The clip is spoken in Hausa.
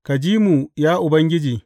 Ka ji mu, ya Ubangiji!